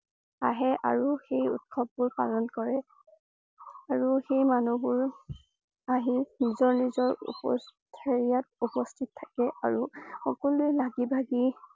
আহে আৰু সেই উৎসৱ বোৰ পালন কৰে । আৰু সেই মানুহবোৰ আহি নিজৰ নিজৰ উপচ~হেৰিয়াত উপস্থিত থাকে। আৰু সকলোৱে লাগি ভাগি